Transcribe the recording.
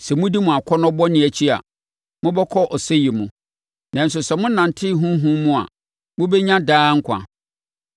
Sɛ modi mo akɔnnɔ bɔne akyi a, mobɛkɔ ɔsɛeɛ mu, nanso sɛ monante Honhom mu a, mobɛnya daa nkwa.